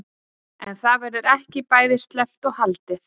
En það verður ekki bæði sleppt og haldið.